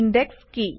index কি